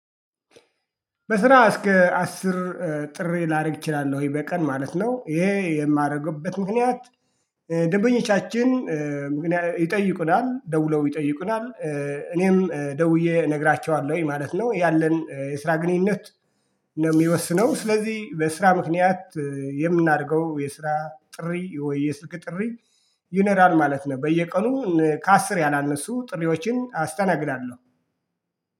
በስራ እስከ አስር ጥሪ ላደርግ እችላለሁኝ በቀን ማለት ነው ይሄ የማደርግበት ምክንያት ደንበኞቻችን ይጠይቁናል ደውለው ይጠይቁናል እኔም ደውዬ እነግራቸዋለሁኝ ማለት ነው። ያለን የስራ ግንኙነት ነው የሚወስነው። ስለዚህ በስራ ምክንያት የምናደርገው የስራ ጥሪ ወይ የስልክ ጥሪ ይኖራል ማለት ነው። በየቀኑ ከአስር ያላነሱ ጥሪዎችን አስተናግዳለሁ